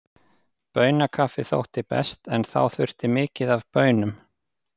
Baunakaffi þótti best, en þá þurfti mikið af baunum.